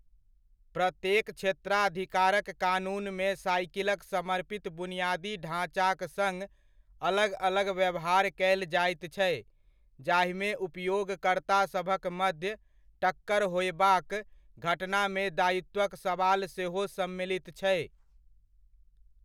प्रत्येक क्षेत्राधिकारक कानूनमे साइकिलक समर्पित बुनियादी ढाँचाक सङ्ग अलग अलग व्यवहार कयल जाइत छै जाहिमे उपयोगकर्तासभक मध्य टक्कर होयबाक घटनामे दायित्वक सवाल सेहो सम्मिलित छै।